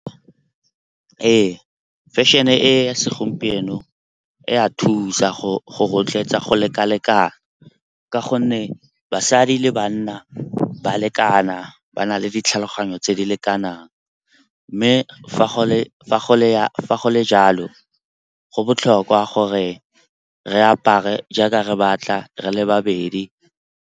Ee, fashion-e e ya segompieno e a thusa go rotloetsa go lekalekana ka gonne basadi le banna ba lekana ba na le ditlhaloganyo tse di lekanang. Mme fa go le jalo, go botlhokwa gore re apare jaaka re batla re le ba bedi.